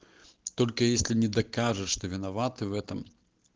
только если не докажешь что виноваты в этом